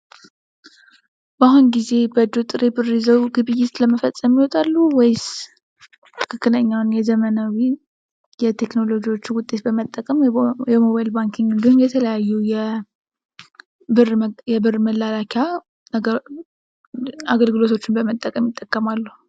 በአሁን ጊዜ በእጆ ጥሬ ብር ይዘው ይወጣሉ ወይስ ትክክለኛ የዘመኑን የቴክኖሎጂ ውጤት በመጠቀም ወይም ደግሞ የሞባይል ባንኪን የተለያዩ የብር መላኪያ አገልግሎቶችን በመጠቀም ይጠቀማሉ።